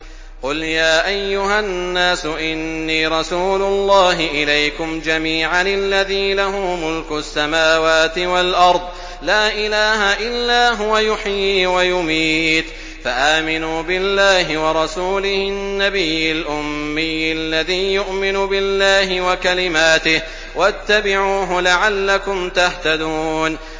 قُلْ يَا أَيُّهَا النَّاسُ إِنِّي رَسُولُ اللَّهِ إِلَيْكُمْ جَمِيعًا الَّذِي لَهُ مُلْكُ السَّمَاوَاتِ وَالْأَرْضِ ۖ لَا إِلَٰهَ إِلَّا هُوَ يُحْيِي وَيُمِيتُ ۖ فَآمِنُوا بِاللَّهِ وَرَسُولِهِ النَّبِيِّ الْأُمِّيِّ الَّذِي يُؤْمِنُ بِاللَّهِ وَكَلِمَاتِهِ وَاتَّبِعُوهُ لَعَلَّكُمْ تَهْتَدُونَ